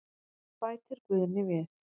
Bætir Guðni við.